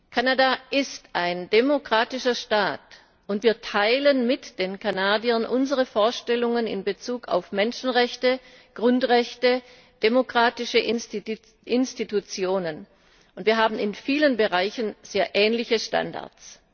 Kanada ist ein demokratischer Staat, wir teilen mit den Kanadiern unsere Vorstellungen in Bezug auf Menschenrechte, Grundrechte und demokratische Institutionen, und wir haben in vielen Bereichen sehr ähnliche Standards.